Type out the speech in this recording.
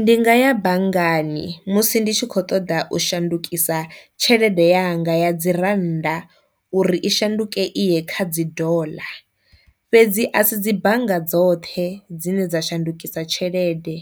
Ndi nga ya banngani musi ndi tshi kho ṱoḓa u shandukisa tshelede yanga ya dzi rannda uri i shandukise iye kha dzi dollar. Fhedzi a si dzi bannga dzoṱhe dzine dza shandukisa tshelede,